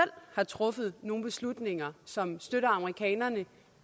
har truffet nogle beslutninger som støtter amerikanerne